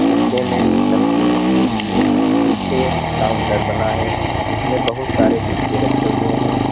डिब्बे में नमकीन रखी हुई है पीछे काउंटर बना है जिसमें बहुत सारे डब्बे रखे हुए हैं।